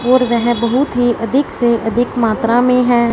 और वह बहुत ही अधिक से अधिक मात्रा में हैं।